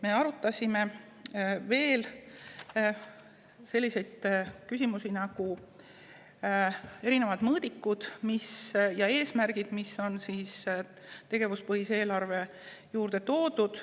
Me arutasime veel selliseid küsimusi nagu erinevad mõõdikud ja eesmärgid, mis on tegevuspõhise eelarve juurde toodud.